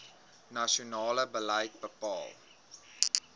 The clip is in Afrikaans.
nasionale beleid bepaal